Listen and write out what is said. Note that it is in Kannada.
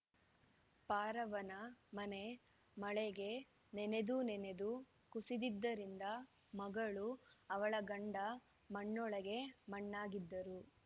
ಪಾರವ್ವನ ಮನೆ ಮಳೆಗೆ ನೆನೆದು ನೆನೆದು ಕುಸಿದಿದ್ದರಿಂದ ಮಗಳು ಅವಳ ಗಂಡ ಮಣ್ಣೊಳಗೆ ಮಣ್ಣಾಗಿದ್ದರು